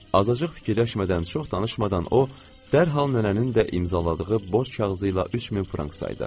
Azacıq fikirləşmədən, çox danışmadan o dərhal nənənin də imzaladığı borc kağızı ilə 3 min frank saydı.